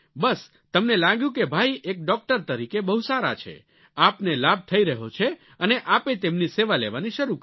બસ તમને લાગ્યું કે ભાઈ એક ડોક્ટર તરીકે બહુ સારા છે આપને લાભ થઈ રહ્યો છે અને આપે તેમની સેવા લેવાની શરૂ કરી